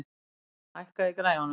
Emil, hækkaðu í græjunum.